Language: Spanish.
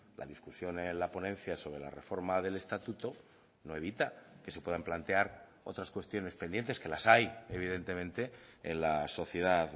la discusión en la ponencia sobre la reforma del estatuto no evita que se puedan plantear otras cuestiones pendientes que las hay evidentemente en la sociedad